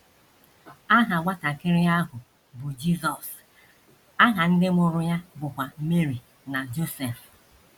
Aha nwatakịrị ahụ bụ Jizọs, aha ndị mụrụ ya bụkwa Meri na Josef.